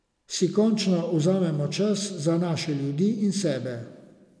Si končno vzamemo čas za naše ljudi in sebe.